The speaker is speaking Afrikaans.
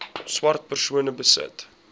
swart persone besit